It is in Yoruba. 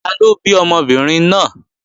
Taló bí ọmọbìnrin náà?